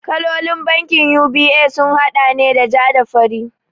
Kalolin bankin UBA sun haɗa ne da ja da fari